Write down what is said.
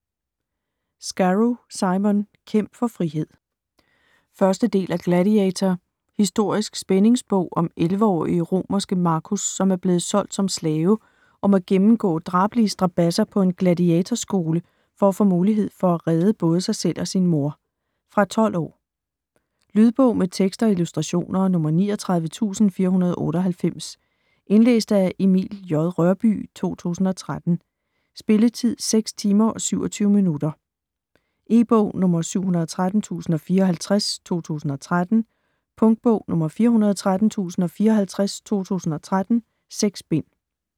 Scarrow, Simon: Kæmp for frihed 1. del af Gladiator. Historisk spændingsbog om 11-årige romerske Marcus, som er blevet solgt som slave og må gennemgå drabelige strabadser på en Gladiator-skole for at få muligheden for at redde både sig selv og sin mor. Fra 12 år. Lydbog med tekst og illustrationer 39498 Indlæst af Emil J. Rørbye, 2013. Spilletid: 6 timer, 27 minutter. E-bog 713054 2013. Punktbog 413054 2013. 6 bind.